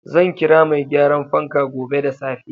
Zan kira mai gyaran fanka gobe da safe.